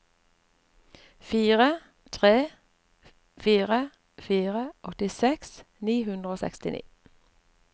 fire tre fire fire åttiseks ni hundre og sekstini